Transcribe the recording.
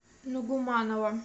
нугуманова